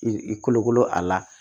I kolokolo a la